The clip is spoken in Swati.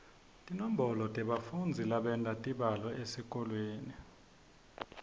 tinombolo tebafundzi labenta tibalo etikolweni